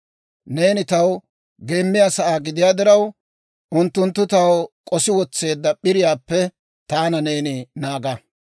Neeni taw geemmiyaa sa'aa gidiyaa diraw, unttunttu taw k'osi wotseedda p'iriyaappe taana neeni naaga.